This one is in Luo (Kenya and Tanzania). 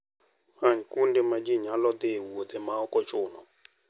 Many kuonde ma ji nyalo dhiye e wuodhe ma ok ochuno.